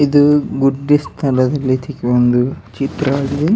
ಇದು ಗುಡ್ಡಿಸ್ ತರ ಅಯ್ತಿ ಈ ಒಂದು ಚಿತ್ರ ಅದು --